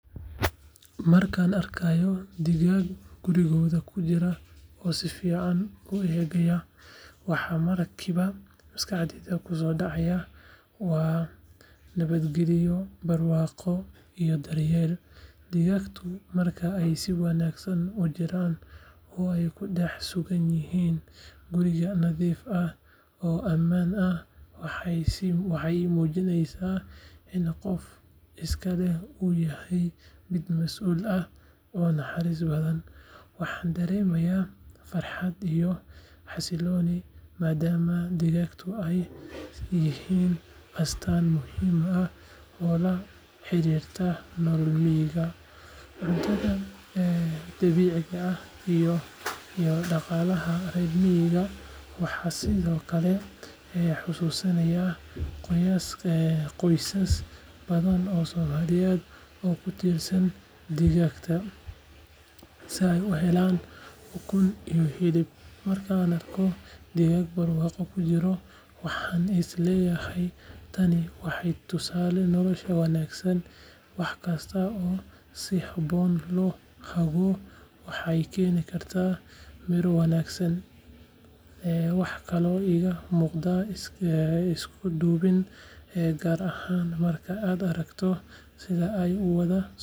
Markaan arkayo digaag gurigooda ku jira oo si fiican u eegaya, waxa markiiba maskaxdayda ku soo dhacaya waa nabadgelyo, barwaaqo iyo daryeel. Digaaggu marka ay si wanaagsan u jiraan oo ay ku dhex sugan yihiin guri nadiif ah oo ammaan ah, waxay ii muujinayaan in qofka iska leh uu yahay mid mas’uul ah oo naxariis badan. Waxaan dareemayaa farxad iyo xasillooni, maadaama digaaggu ay yihiin astaan muhim ah oo la xiriirta nolol miyiga, cuntada dabiiciga ah, iyo dhaqaalaha reer miyiga. Waxay sidoo kale xusuusinayaan qoysas badan oo soomaaliyeed oo ku tiirsan digaagga si ay u helaan ukun iyo hilib. Marka aan arko digaag barwaaqo ku jira, waxaan is leeyahay tani waa tusaale nolosha wanaagsan, wax kasta oo si habboon loo hago waxay keeni karaan miro wanaagsan. Waxaa kaloo iiga muuqata isku duubni, gaar ahaan marka aad aragto sida ay u wada.